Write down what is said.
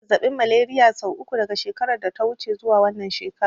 Na yi zazzaɓin Malariya sau uku daga shekarar da ta wuce zuwa wannan shekarar.